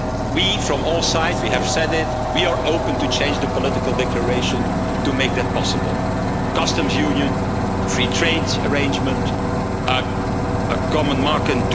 We, from all sides, have said it, we are open to change the political declaration to make that possible customs union, free trade arrangement, a common market